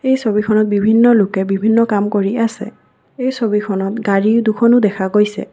এই ছবিখনত বিভিন্ন লোকে বিভিন্ন কাম কৰি আছে এই ছবিখনত গাড়ী দুখনো দেখা গৈছে।